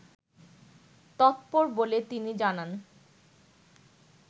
তৎপর বলে তিনি জানান